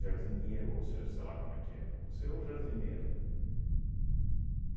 Jardinheiro, ou seja, sei lá como é que é. Você é o jardineiro.